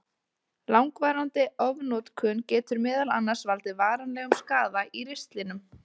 Langvarandi ofnotkun getur meðal annars valdið varanlegum skaða í ristlinum.